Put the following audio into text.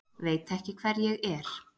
Veit ekki hver ég er!